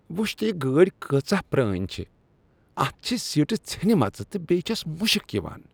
وچھ تہٕ یہ گٲڑۍ کٲژاہ پرٛٲنۍ چھےٚ۔ اتھ چھےٚ سیٖٹہٕ ژھیٚنمژٕ تہٕ بیٚیہ چھس مشک یوان۔